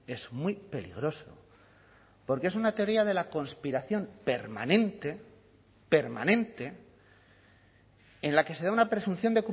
es muy peligroso porque es una teoría de la conspiración permanente permanente en la que se da una presunción